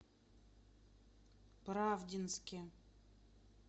правдинске